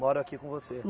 Moram aqui com você?